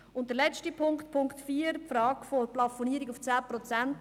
Zum letzten Punkt, Punkt 4 betreffend die Frage der Plafonierung auf 10 Prozent: